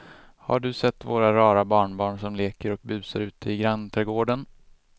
Har du sett våra rara barnbarn som leker och busar ute i grannträdgården!